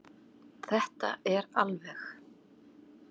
Þetta er alveg.